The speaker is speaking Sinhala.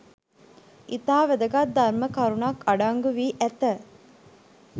ඉතා වැදගත් ධර්ම කරුණක් අඩංගු වී ඇත